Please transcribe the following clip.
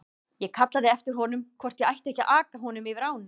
Ég kallaði á eftir honum hvort ég ætti ekki að aka honum yfir ána.